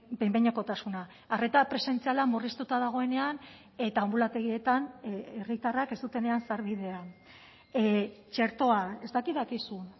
behin behinekotasuna arreta presentziala murriztuta dagoenean eta anbulategietan herritarrak ez dutenean sarbidea txertoa ez dakit dakizun